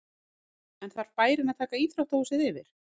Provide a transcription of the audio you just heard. En þarf bærinn að taka íþróttahúsið yfir?